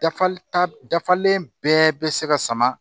Dafali ta dafalen bɛɛ bɛ se ka sama